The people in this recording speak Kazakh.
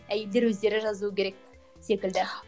әйелдер өздері жазу керек секілді